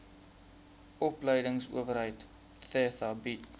opleidingsowerheid theta bied